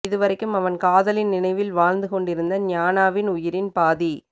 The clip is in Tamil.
இதுவரைக்கும் அவன் காதலின் நினைவில் வாழ்ந்து கொண்டிருந்த ஞானாவின் உயிரின் பாதி